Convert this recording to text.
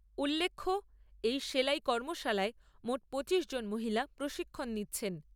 উল্লেখ্য, এই সেলাই কর্মশালায় মোট পঁচিশ জন মহিলা প্রশিক্ষন নিচ্ছেন।